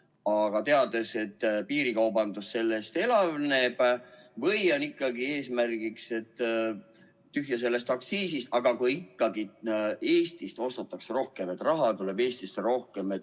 Aga teades, et piirikaubandus sellest elavneb, võiks ehk ikkagi olla eesmärk, et tühja sellest aktsiisist, kui ikkagi Eestist ostetakse rohkem, siis raha tuleb Eestisse rohkem.